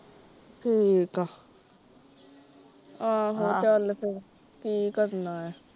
ਠੀਕ ਆ, ਆਹੋ ਚਲ ਫੇਰ ਕਿ ਕਰਨਾ ਏ।